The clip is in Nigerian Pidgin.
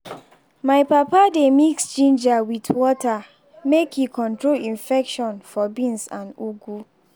my papa dey mix ginger with water make e control infection for beans and ugu.